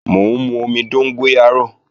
Mò ń mú omi dóngóyárò